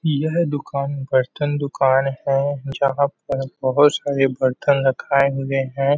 यह दुकान बर्तन दुकान है जहाँ पर बहोत सारे बर्तन रखाए हुए है ।